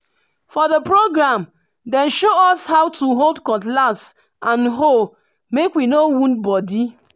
for the program dem show us how to hold cutlass and hoe make we no wound body.